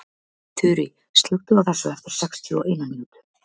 Þurý, slökktu á þessu eftir sextíu og eina mínútur.